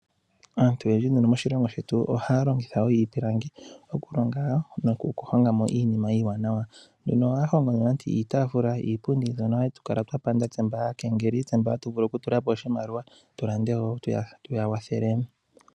Aantu oyendji nduno moshilongo shetu ohaya longitha wo iipilangi, okulonga nokuhonga mo iinima iiwanawa. Ohaya hongo mo iitafula, iipundi mbyono hatu kala twa panda tse mba aakengeli, tse mba hatu vulu okutula po oshimaliwa tu lande wo, tuya kwathelele.